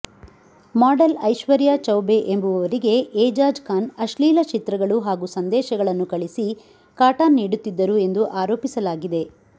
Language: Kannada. ಮಾಡೆಲ್ ಐಶ್ವರ್ಯಾ ಚೌಬೆ ಎಂಬುವವರಿಗೆ ಏಜಾಜ್ ಖಾನ್ ಅಶ್ಲೀಲ ಚಿತ್ರಗಳು ಹಾಗೂ ಸಂದೇಶಗಳನ್ನು ಕಳಿಸಿ ಕಾಟ ನೀಡುತ್ತಿದ್ದರು ಎಂದು ಆರೋಪಿಸಲಾಗಿದೆ